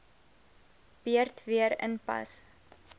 beurt weer inpas